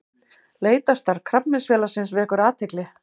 Leitarstarf Krabbameinsfélagsins vekur athygli